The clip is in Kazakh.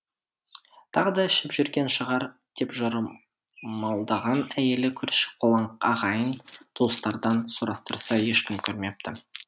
тағы да ішіп жүрген шығар деп жорамалдаған әйелі көрші қолаң ағайын туыстардан сұрастырса ешкім көрмепті